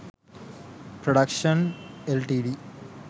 productions ltd